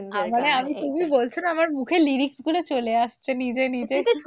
তুমি বলছো না আমার মুখে lyrics গুলো চলে আসছে নিজে নিজে।